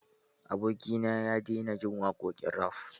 Abokina ya daina jin waƙoƙin raf.